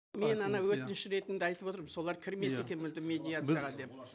мен ана өтініш ретінде айтып отырмын солар кірмесе екен мүлдем медиацияға деп